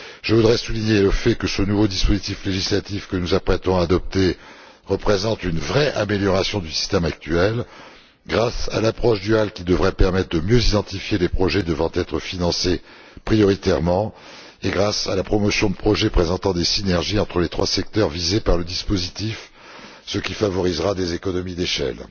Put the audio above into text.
Je voudrais souligner le fait que ce nouveau dispositif législatif que nous nous apprêtons à adopter représente une vraie amélioration du système actuel, grâce à l'approche duale, qui devrait permettre de mieux identifier les projets devant être financés prioritairement, et grâce à la promotion de projets présentant des synergies entre les trois secteurs visés par le dispositif, ce qui favorisera des économies d'échelle.